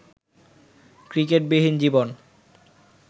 ক্রিকেটবিহীন জীবন